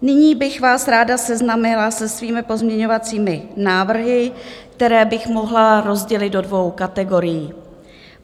Nyní bych vás ráda seznámila se svými pozměňovacími návrhy, které bych mohla rozdělit do dvou kategorií.